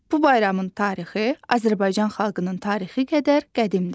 Bu bayramın tarixi Azərbaycan xalqının tarixi qədər qədimdir.